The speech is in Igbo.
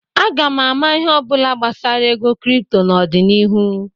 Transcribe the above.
Aga m ama ihe ọ bụla gbasara ego kripto n'ọdịnihu.